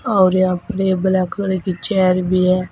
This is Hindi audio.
और यह ब्लैक कलर की चेयर भी है।